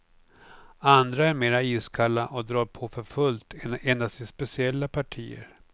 Andra är mera iskalla och drar på för fullt endast i speciella partier.